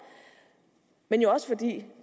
men også fordi